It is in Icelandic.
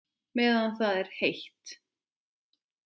Meðan það er heitt.